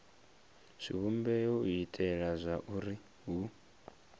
zwivhumbeo u itela zwauri hu